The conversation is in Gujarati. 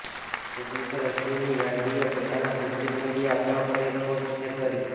પ્રોડ્યૂસર અશ્વિની યાર્ડીએ પોતાના સોશિયલ મીડિયા એકાઉન્ટ પર એક પોસ્ટ શેર કરી